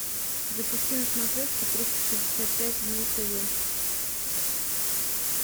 запусти на смотрешке триста шестьдесят пять дней тв